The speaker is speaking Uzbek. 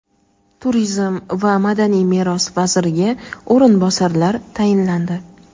Turizm va madaniy meros vaziriga o‘rinbosarlar tayinlandi:.